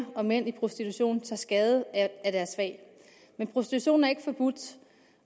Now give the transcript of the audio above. og mænd i prostitution tager skade af deres fag men prostitution er ikke forbudt